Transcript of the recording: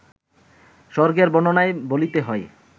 স্বর্গের বর্ণনায় বলিতে হয়